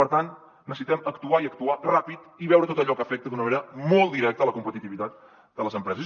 per tant necessitem actuar i actuar ràpid i veure tot allò que afecta d’una manera molt directa la competitivitat de les empreses